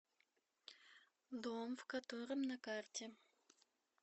дом в котором на карте